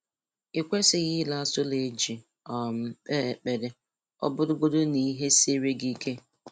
I kwesịghị ire atụrụ e ji um kpee ekpere, ọ bụrụgodị n'ihe siere gị ike